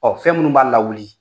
Ɔ fɛn minnu b'a lawuli